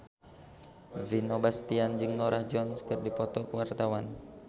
Vino Bastian jeung Norah Jones keur dipoto ku wartawan